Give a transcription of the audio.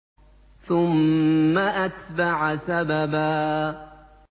ثُمَّ أَتْبَعَ سَبَبًا